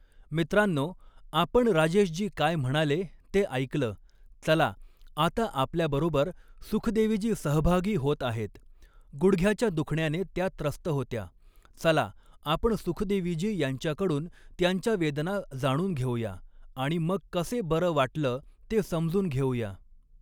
मित्रांनो, आपण राजेशजी काय म्हणाले ते ऐकलं, चला आता आपल्याबरोबर सुखदेवीजी सहभागी होत आहेत, गुडघ्याच्या दुखण्याने त्या त्रस्त होत्या, चला आपण सुखदेवीजी यांच्याकडून त्यांच्या वेदना जाणून घेऊया आणि मग कसे बरं वाटलं ते समजून घेऊया.